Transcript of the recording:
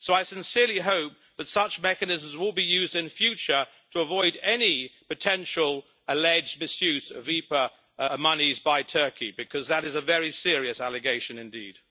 So I sincerely hope that such mechanisms will be used in future to avoid any potential alleged misuse of IPA monies by Turkey, because that is a very serious allegation indeed.